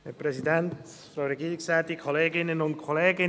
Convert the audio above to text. Ich nehme es vorweg: